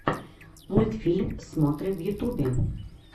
мультфильм смотры в ютубе